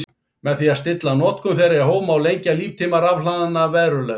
Með því að stilla notkun þeirra í hóf má lengja líftíma rafhlaðanna verulega.